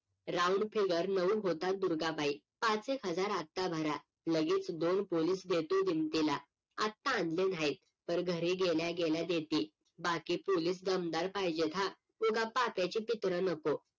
round figure नऊ होतात दुर्गाबाई पाच एक हजार आता भरा लगेच दोन पोलीस देतो दिमतीला आता आणले नाहीत पर घरी गेल्या गेल्या देते बाकी पोलीस दमदार पाहिजेत हा उगा पाप्याची पित्र नको